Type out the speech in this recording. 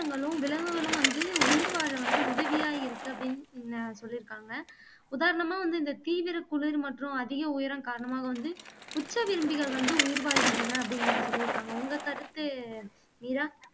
ரங்களும் விலங்குகளும் வந்து உயிர் வாழ வந்து உதவியா இருக்கு அப்படின்னு ந சொல்லிருக்காங்க உதாரணமா வந்து இந்த தீவிரக்குளிர் மற்றும் அதிக உயரம் காரணமாக வந்து உச்ச விரும்பிகள் வந்து உயிர் வாழ்கின்றன அப்படிங்கிறத சொல்லிருக்காங்க உங்க கருத்து மீரா